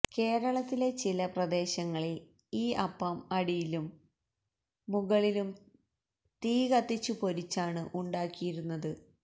കേരളത്തിലെ ചില പ്രദേശങ്ങളിൽ ഈ അപ്പം അടിയിലും മുകളിലും തീകത്തിച്ചു പൊരിച്ചാണ് ഉണ്ടാക്കിയിരുന്നത്